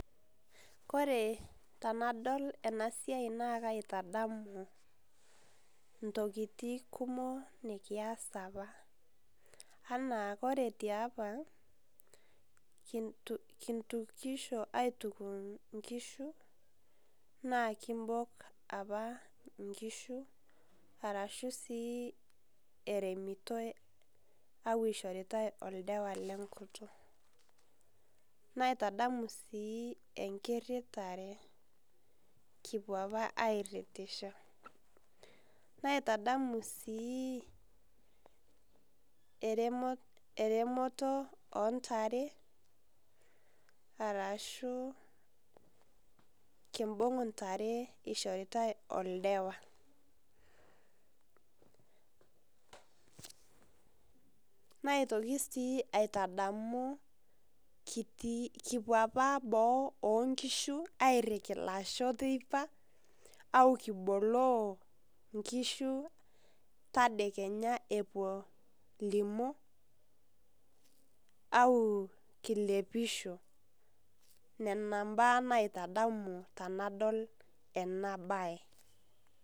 Kore tanadol ena siai naa kaitadamu ntokitin kumook nikias apaa ana kore te apaa nkitukushoo aituuk nkishuu naa kimbook apaa nkishuu arashuu aremitoo au eishoritaa eldewa le nkutuuk. Naitadamu sii enkiritare kipoo apaa aritishoo. Naitadamu sii eremotoo o ntaare arashu kibung'u ntaare eshoritai eldewa. Naitokii sii aitadamu kitii kipoo apaa boo enkishuu airikii laishoo pee ipaak kiboloo nkishuu tadee kenyaa epoo limoo au kilepishoo nena baya naitadamu tanadol ena sia.